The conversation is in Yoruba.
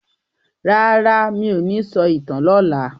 Rara, mí ò ní sọ ìtàn lọla.